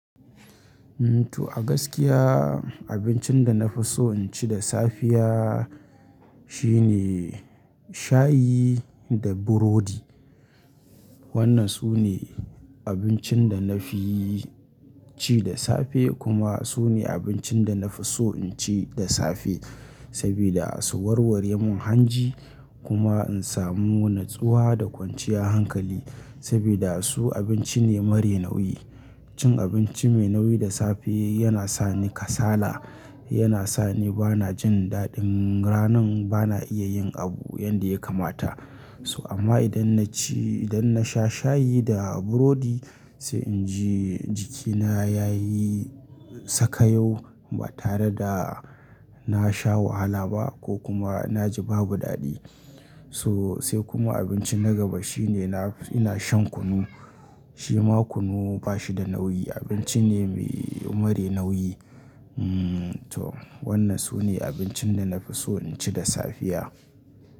Umm to a gaskiya abincin da na fi so in ci da safiya shine shayi da burodi. Wannan su ne abincin da na fi ci da safe kuma su ne abincin da na fi so in ci da safe. Saboda su warware mun hanji kuma in samu natsuwa da kwanciya hankali saboda su abinci ne mare nauyi. Cin abinci mai nauyi da safe yana sa ni kasala, yana sa ni bana jin daɗin ranan bana iya yin abu yanda ya kamata. So amma idan na ci, idan na sha shayi da burodi sai inji jikina yayi sakayyo ba tare da na sha wahala ba ko kuma na ji babu daɗi. So sai kuma abinci na gaba shine ina shan kunu, shi ma kunu ba shi da nauyi abinci ne mai mare nauyi. Umm to wannan su ne abincin da na fi so in ci da safiya.